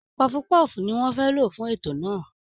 Pọọfu-pọ́ọ̀fù ni wọ́n fẹ́ lò fún ètò náà